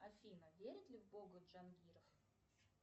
афина верит ли в бога джангиров